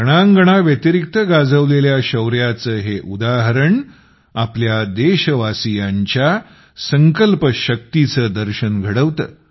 रणांगणाव्यतिरिक्त गाजवलेल्या शौर्याचे हे उदाहरण आपल्या देशवासीयांच्या संकल्प शक्तीचे दर्शन घडवते